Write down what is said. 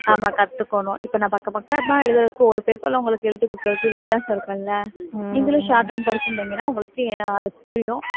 ஆமா கத்துக்கணும் இப்ப நான் பக்க பக்கமா எழுதுறதுக்கு ஒரு paper ல உங்களுக்கு எழுதிக் கொடுக்கிறதுக்கு வித்தியாசம் இருக்கும்ல்ல நீங்களும் shorthand படிச்சுருந்தீங்கன்னா உங்களுக்கு ஏ~ அது புரியும்